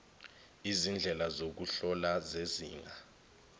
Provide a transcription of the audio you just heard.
izindlela zokuhlola zezinga